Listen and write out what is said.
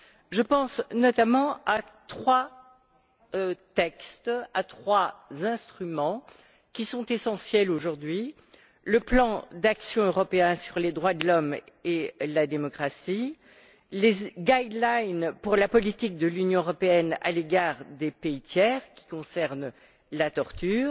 Je pense notamment à trois textes, à trois instruments qui sont essentiels aujourd'hui le plan d'action européen sur les droits de l'homme et la démocratie, les lignes directrices pour la politique de l'Union européenne à l'égard des pays tiers, qui concernent la torture,